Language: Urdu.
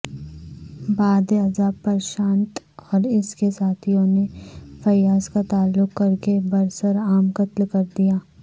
بعدازاں پرشانت اور اس کے ساتھیوں نے فیاض کا تعلق کرکے برسرعام قتل کردیاہے